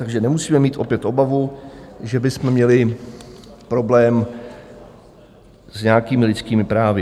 Takže nemusíme mít opět obavu, že bychom měli problém s nějakými lidskými právy.